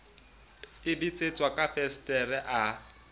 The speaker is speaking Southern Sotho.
e betsetswa ka fensetere a